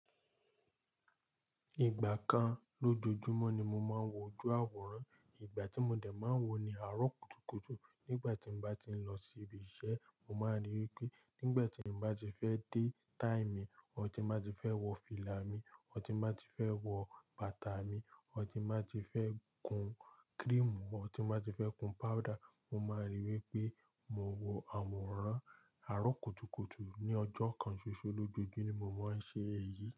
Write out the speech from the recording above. Ìgbà kan lójoojúmọ́ ni mo máa ń wọ ojú àwòrán. Ìgbà tí mo dẹ̀ máa ń wọ ni àárọ̀ kùtùkùtù. Nígbà tí mo bá ti ń lọ sí ibi iṣẹ́, mo máa rí wípé nígbà tí mo bá ti fẹ́ dé táì mì, or ti n bá ti fẹ́ wọ fìlà mi, or ti n bá ti fẹ́ wọ bàtà mi, or ti n bá ti fẹ́ kun krímù, or ti n ná ti fẹ́ kun páúdà. Mo máa rí i wípé mo wọ àwòrán. Àárọ̀ kùtùkùtù ní ọjọ́ kan ṣoṣo lójoojúmọ́ ni mo máa ń ṣe èyí.